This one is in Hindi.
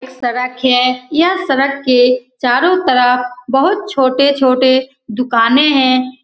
सड़क है यह सड़क के चारो तरफ बहुत छोटे-छोटे दुकाने हैं ।